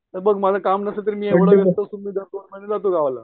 हे बघ मला काम नसलं, तरी मी दोन महिने जातो गावाला